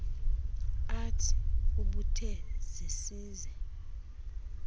art ubethe zesize